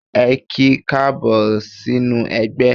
Ẹ ki káàbọ̀ sínú ẹgbẹ́.